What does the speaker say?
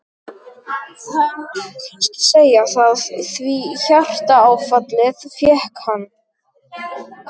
Það má kannski segja það, því hjartaáfallið fékk hann.